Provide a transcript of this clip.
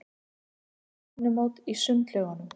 Ég á stefnumót í sundlaugunum.